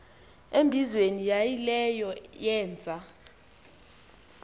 embizweni yaayileyo yeenza